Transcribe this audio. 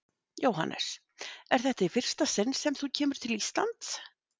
Jóhannes: Er þetta í fyrsta sinn sem þú kemur til Íslands?